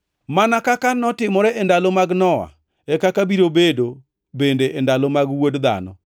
“Mana kaka notimore e ndalo mag Nowa, e kaka biro bedo bende e ndalo mag Wuod Dhano.